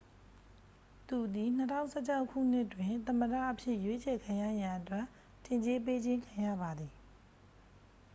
သူသည် 2016 ခုနှစ်တွင် သမ္မတအဖြစ် ရွေးချယ်ခံရရန် အတွက် ထင်ကြေးပေးခြင်း ခံရပါသည်